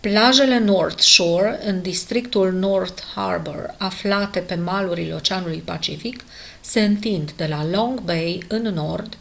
plajele north shore în districtul north harbour aflate pe malurile oceanului pacific se întind de la long bay în nord